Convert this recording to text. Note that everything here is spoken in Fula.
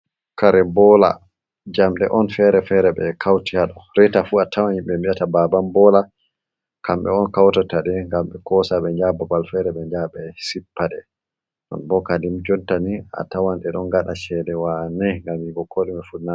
Kare boola, Jamɗe oun feere feere ɓekawti haɗo, reeta fuu atawan yimɓe ɓe mbi'ata baban boola, kamɓe oun kawtataɗe ngam ɓe koosa ɓe njaha babal feere ɓe njaha ɓesippa ɗe, nonboh kadin jottani atawan ɗeɗon ngaɗa ceede waane ngam yi'ugo koɗume fuu naawi waane.